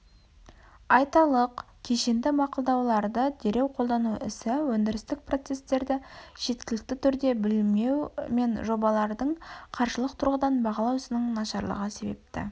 айталық кешенді мақұлдауларды дереу қолдану ісі өндірістік процесстерді жеткілікті түрде білмеу мен жобаларды қаржылық тұрғыдан бағалау ісінің нашарлығы себепті